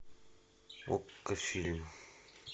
окко фильм